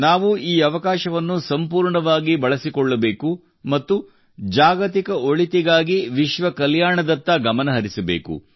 ನಾವು ಈ ಅವಕಾಶವನ್ನು ಸಂಪೂರ್ಣವಾಗಿ ಬಳಸಿಕೊಳ್ಳಬೇಕು ಮತ್ತು ಜಾಗತಿಕ ಒಳಿತಿಗಾಗಿ ವಿಶ್ವ ಕಲ್ಯಾಣದತ್ತ ಗಮನ ಹರಿಸಬೇಕು